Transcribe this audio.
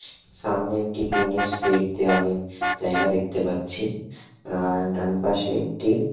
সামনে একটি টিন -এর শেড দেয়ালে জায়গা দেখতে পাচ্ছি আর ডান পাশে একটি--